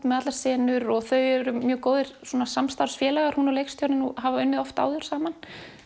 með allar senur og þau eru mjög góðir samstarfsfélagar hún og leikstjórinn og hafa unnið oft áður saman